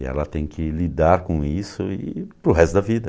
E ela tem que lidar com isso e para o resto da vida.